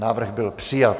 Návrh byl přijat.